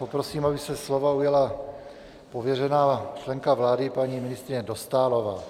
Poprosím, aby se slova ujala pověřená členka vlády paní ministryně Dostálová.